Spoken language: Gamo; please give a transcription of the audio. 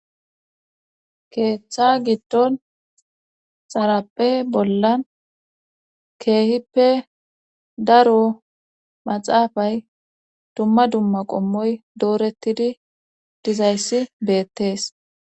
Keeththa giddon xarappe bollan keehippe daro maxaafay dumma dumma qommoy doorettidi dizayssi beettees.